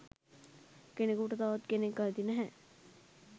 "කෙනෙකුට තවත් කෙනෙක් අයිති නැහැ"